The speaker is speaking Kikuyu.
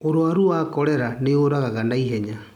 Urwarũ wa korera nĩ wũragaga na ihenya.